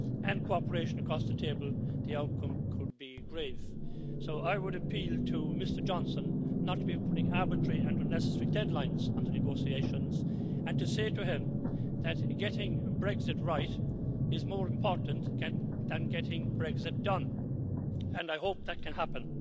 and cooperation across the table, the outcome could be grave. So I would appeal to Mr Johnson not to be putting arbitrary and unnecessary deadlines into the negotiations and say to him that getting Brexit right is more important than getting Brexit done, and I hope that can happen.